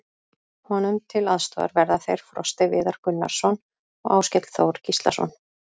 Honum til aðstoðar verða þeir Frosti Viðar Gunnarsson og Áskell Þór Gíslason.